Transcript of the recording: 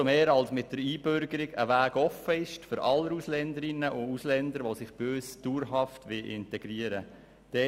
Dies umso mehr, als ja mit der Einbürgerung ein Weg für alle Ausländerinnen und Ausländer offensteht, die sich bei uns dauerhaft integrieren wollen.